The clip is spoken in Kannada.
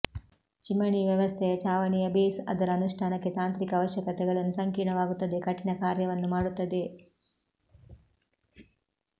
ಚಿಮಣಿ ವ್ಯವಸ್ಥೆಯ ಛಾವಣಿಯ ಬೇಸ್ ಅದರ ಅನುಷ್ಠಾನಕ್ಕೆ ತಾಂತ್ರಿಕ ಅವಶ್ಯಕತೆಗಳನ್ನು ಸಂಕೀರ್ಣವಾಗುತ್ತದೆ ಕಠಿಣ ಕಾರ್ಯವನ್ನು ಮಾಡುತ್ತದೆ